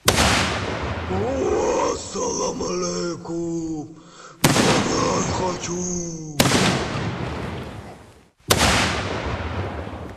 салам алейкум банан хочу